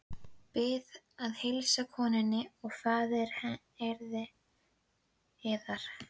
Bið að heilsa konunni og faðir yðar.